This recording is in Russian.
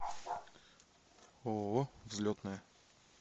ооо взлетная